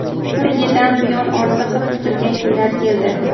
Bir yidan buyon orziqib kutilgan kunlar keldi.